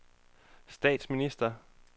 statsminister